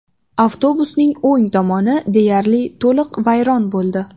Avtobusning o‘ng tomoni deyarli to‘liq vayron bo‘ldi.